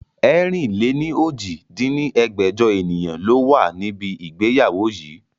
ẹ̀rin-lé-ní-ojì dín ní ẹgbẹ́jọ ènìyàn ló wà níbi ìgbéyàwó yii